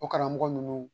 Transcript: O karamɔgɔ ninnu